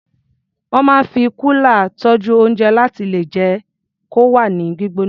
Wọ́n máa ń fi kúlà tọ́jú oúnjẹ láti lè jẹ́ kó wà ní gbígbóná.